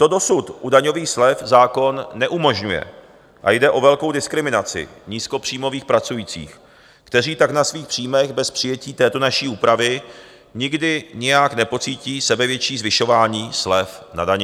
To dosud u daňových slev zákon neumožňuje a jde o velkou diskriminaci nízkopříjmových pracujících, kteří tak na svých příjmech bez přijetí této naší úpravy nikdy nijak nepocítí sebevětší zvyšování slev na dani.